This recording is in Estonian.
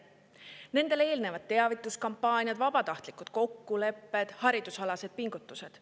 Nendele eelnevad teavituskampaaniad, vabatahtlikud kokkulepped, haridusalased pingutused.